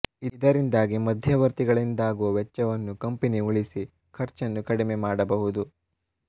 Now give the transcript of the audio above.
ಇದರಿಂದಾಗಿ ಮಧ್ಯವರ್ತಿಗಳಿಂದಾಗುವ ವೆಚ್ಚವನ್ನ್ನು ಕಂಪನಿ ಉಳಿಸಿ ಖರ್ಚನ್ನು ಕಡಿಮೆ ಮಾಡಬಹುದು